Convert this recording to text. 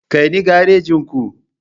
Kai ni garejin ku.